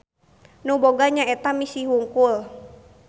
Nu boga nyaeta misi hungkul.